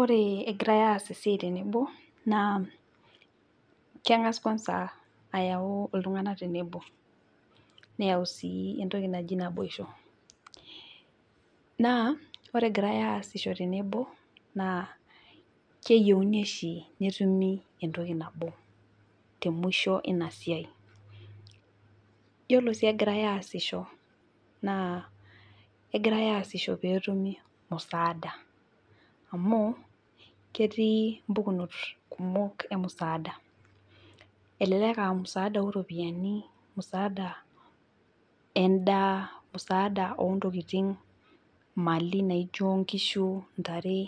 Ore egirae aas esiai tenebo naa kengas kwansa ayau iltunganak tenebo , neyau sii entoki naji naboisho naa ore egirae aasisho tenebo naa keyieuni oshi netumi entoki nabo temwisho inasiai. Yiolo sii egirae aasisho naa kegirae aasisho peetumi musaada amu ketii mpukunot kumok emusaada elelek aa musaada oropiyiani, musaada endaa , musaada ontokin ,imali naijo nkishu , ntare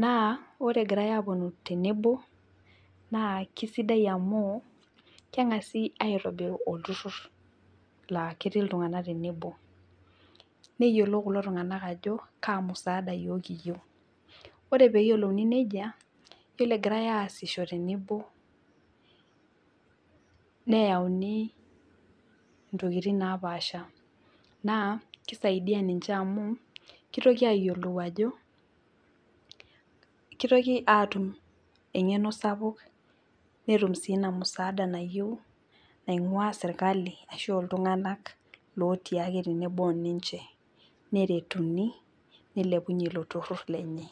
naa ore egirae aponu tenebo naa kisidai amu kengasi aitobiru olturur laa ketii iltunganak tenebo, neyiolou kulo tunganak ajo musaada yiok kiyieu. Ore peyiolouni nejia , yiolo egirae aasisho tenebo , neyauni ntokitin napaasha naa kisaidia ninche amu kitoki ayiolou ajo, kitoki aatum engeno sapuk , netum sii inamusaada nayieu naingwaa sirkali ashu iltunganak lotii ake tenebo oninche , neretuni nilepunyie ilo turur lenye .